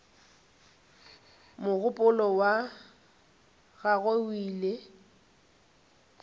mogopolo wa gagwe o ile